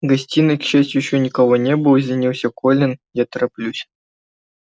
в гостиной к счастью ещё никого не было извинился колин я тороплюсь